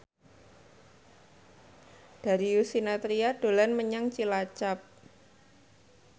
Darius Sinathrya dolan menyang Cilacap